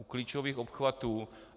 U klíčových obchvatů.